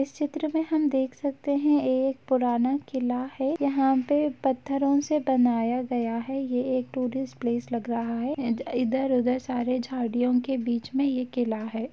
इस चित्र में हम देख सकते हैं एक पुराना किला है यहाँ पे पत्थरों से बनाया गया है ये एक टूरिस्ट प्लेस लग रहा है एंड इधर-उधर सारे झाड़ियाों के बीच में ये किला है।